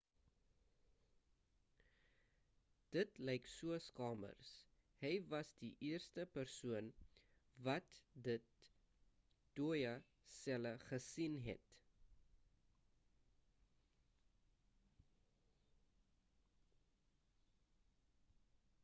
dit lyk soos kamers hy was die eerste person wat die dooie selle gesien het